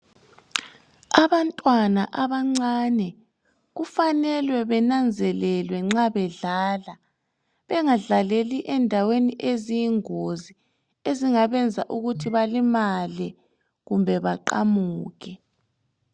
Abantwana abancane ,kufanelwe benanzelelwe nxa bedlala. Bengadlaleli endaweni eziyingozi ,ezingabenza ukuthi balimale kumbe baqamuke.